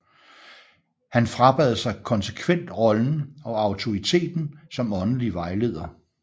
Han frabad sig konsekvent rollen og autoriteten som åndelig vejleder